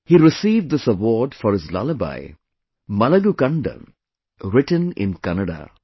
He received this award for his lullaby 'Malagu Kanda' written in Kannada